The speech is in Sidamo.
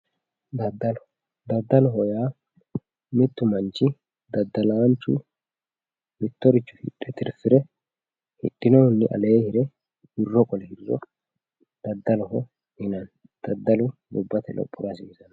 Daddalo daddaloho yaa mittu manchi daddalaanchu mittoricho hidhe tirfire hdihinohunni aleenni qole hiriro daddaloho yinanni daddalu gobbate lophora lowonta hasiisanno